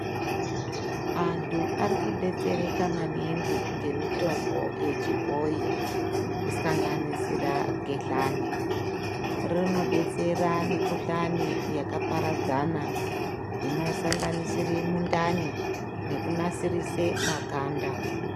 Antu arikudetsereka maningi ngemitombo yechibhoyi kisanganisira gedhlani rinodetsera mikhuhlani yakaparadzana inosanganisira mundani nekunasisirire maganda.